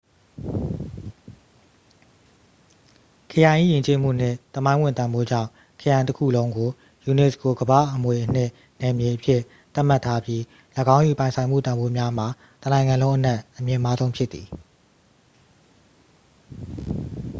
ခရိုင်၏ ယဉ်ကျေးမှုနှင့် သမိုင်းဝင်တန်ဖိုးကြောင့် ခရိုင်တစ်ခုလုံးကို unesco ကမ္ဘာ့အမွေအနှစ်နယ်မြေအဖြစ် သတ်မှတ်ထားပြီး ၎င်း၏ ပိုင်ဆိုင်မှုတန်ဖိုးများမှာ တစ်နိုင်ငံလုံးအနက် အမြင့်မားဆုံးဖြစ်သည်